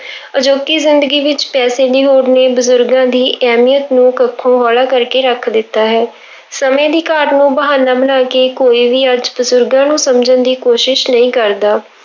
ਅਜੋਕੀ ਜ਼ਿੰਦਗੀ ਵਿੱਚ ਪੈਸੇ ਦੀ ਹੋੜ ਨੇ ਬਜ਼ੁਰਗਾਂ ਦੀ ਅਹਿਮੀਅਤ ਨੂੰ ਕੱਖੋਂ ਹੋਲਾ ਕਰਕੇ ਰੱਖ ਦਿੱਤਾ ਹੈ ਸਮੇਂ ਦੀ ਘਾਟ ਨੂੰ ਬਹਾਨਾ ਬਣਾ ਕੇ ਕੋਈ ਵੀ ਅੱਜ ਬਜ਼ੁਰਗਾਂ ਨੂੰ ਸਮਝਣ ਦੀ ਕੋਸ਼ਿਸ਼ ਨਹੀਂ ਕਰਦਾ।